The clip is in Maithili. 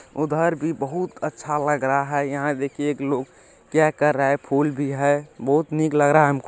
उधर भी बहुत अच्छा लग रहा है यहां देखिए एक लोग क्या कर रहा है फूल भी है बहुत नीक लग रहा है हमको---